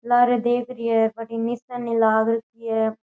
लारे देख रही है बठीने निसेनी लाग रखी है।